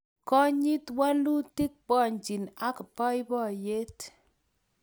Konyit walutik pwanjin ak boiboiyet